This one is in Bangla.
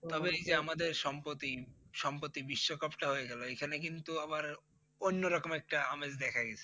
যে আমাদের সম্পতি সম্পতির বিশ্ব কাপটা হয়ে গেলো এখানে কিন্তু আবার অন্য রকম একটা আমেজ দেখা গিয়েছে।